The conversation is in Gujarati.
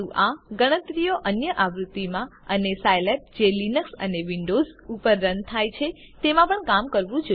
પરંતુ આ ગણતરીઓ અન્ય આવૃત્તિઓમાં અને સાઈલેબ જે લિનક્સ અને વિન્ડોઝ ઉપર રન થાય છે તેમાં પણ કામ કરવું જોઈએ